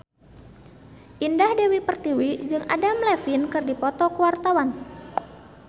Indah Dewi Pertiwi jeung Adam Levine keur dipoto ku wartawan